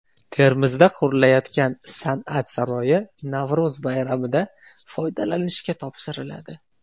Termizda qurilayotgan San’at saroyi Navro‘z bayramida foydalanishga topshiriladi.